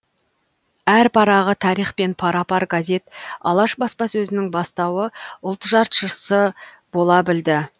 әр парағы тарихпен пара пар газет алаш баспасөзінің бастауы ұлт жаршысы бола білді